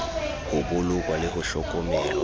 ho bolokwa le ho hlokomelwa